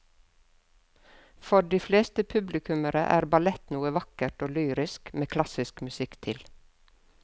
For de fleste publikummere er ballett noe vakkert og lyrisk med klassisk musikk til.